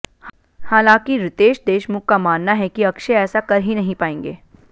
हालांकि रितेश देशमुख का मानना है कि अक्षय ऐसा कर ही नहीं पाएंगे